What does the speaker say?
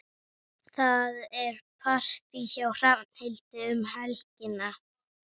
Það er partí hjá Hrafnhildi um helgina.